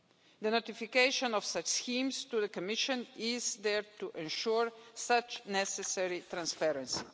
The notification of such schemes to the Commission is there to ensure such necessary transparency.